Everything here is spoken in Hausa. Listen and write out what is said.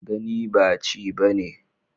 Gani ba ci bane